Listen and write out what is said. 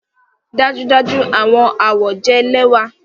Dájúdájú! Awọn awọ jẹ lẹwa